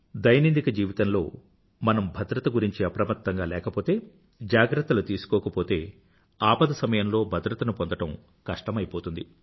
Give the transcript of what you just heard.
దైనందిక జీవితంలో మనం భద్రత గురించి అప్రమత్తంగా లేకపోతే జాగ్రత్తలు తీసుకోకపోతే ఆపదల సమయంలో భద్రతను పొందడం కష్టమైపోతుంది